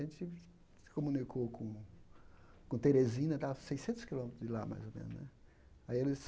A gente se se comunicou com com Terezina, estava a seiscentos quilômetros de lá, mais ou menos né. Aí eles